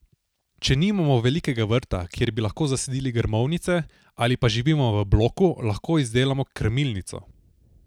Če nimamo velikega vrta, kjer bi lahko zasadili grmovnice, ali pa živimo v bloku, lahko izdelamo krmilnico.